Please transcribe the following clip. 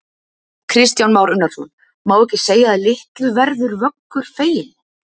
Kristján Már Unnarsson: Má ekki segja að litlu verður Vöggur feginn?